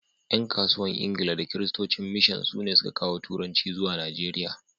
’yan kasuwan Ingila da Kiristocin mishan sune sun ka kawo turanci zuwa Najeriya